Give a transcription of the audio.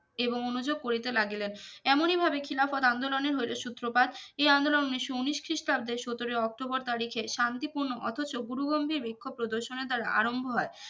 এবং অনুযোগ করিতে লাগিলেন এমনিভাবে খিলাফত আন্দোলনে হইলো সূত্রপাত এই আন্দোলনে উনিস্য উনিশ খ্রিস্টাব্দে সতরোই অক্টোবর তারিখে শন্তিপুর্নো অথচ গুরুগম্ভীর বিক্ষোভ প্রদর্শনের দারা আরম্ভ হয়